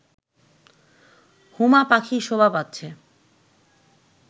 হুমা পাখি শোভা পাচ্ছে